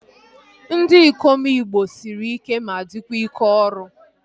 Ndị ikom igbo sịrị ike ma dịkwa ike ọrụ